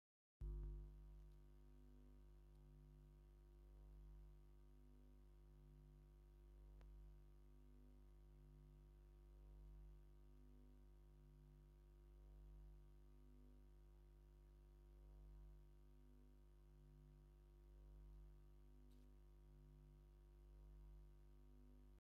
አብ ፀሊም ዋልካ መሬት ክደርቁ ዝቀረቡ አዝርእቲ ብመሰመር ተዘሪኦም ይርከቡ፡፡ እዚ ብመስመር ዝተዘርኡ ተክሊ ስገም ተባሂሎም ይፍለጡ፡፡ እዞም ስገም እንዳደረቁን ክዕፀዱ እንዳቀረቡን እዮም፡፡ እዋይ እንጀራ ስገም ክፅብቅን ክጥዕምን ፍሉይ እዩ፡፡